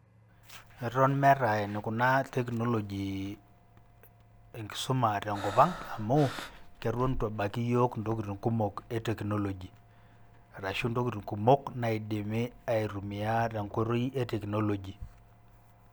Eton meeta enikuna technology enkisuma tenkop ang', amu, keton itu ebaiki yiok intokiting kumok e technology. Arashu ntokiting kumok naidimi aitumia tenkoitoi e technology.